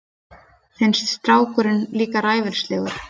Finnst strákurinn líka ræfilslegur.